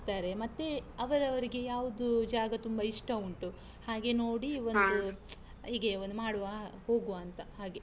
ಮತ್ತೆ ಅವರವರಿಗೆ ಯಾವ್ದು ಜಾಗ ತುಂಬಾ ಇಷ್ಟ ಉಂಟು ಹಾಗೆ ನೋಡಿ ಒಂದು, ಹೀಗೆ ಒಂದು ಮಾಡುವ, ಹೋಗುವಾಂತ ಹಾಗೆ.